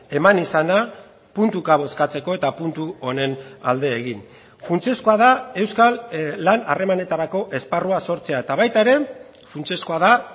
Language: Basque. eman izana puntuka bozkatzeko eta puntu honen alde egin funtsezkoa da euskal lan harremanetarako esparrua sortzea eta baita ere funtsezkoa da